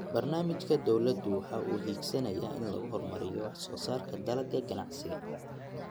Barnaamijka dawladdu waxa uu higsanayaa in lagu horumariyo wax soo saarka dalagga ganacsiga.